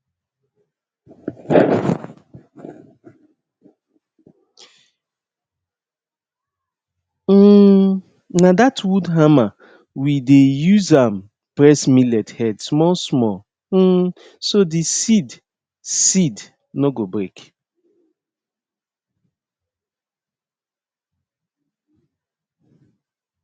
um na that wood hammer we dey use am press millet head small small um so the seed seed no go break